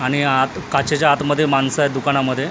आणि आत काचेच्या आतमध्ये माणसं आहेत दुकानामध्ये .